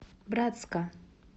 братска